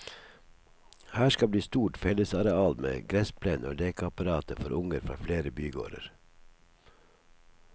Her skal bli stort fellesareal med gressplen og lekeapparater for unger fra flere bygårder.